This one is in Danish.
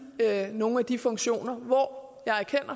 nogle af de funktioner hvor jeg